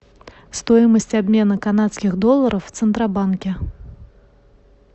стоимость обмена канадских долларов в центробанке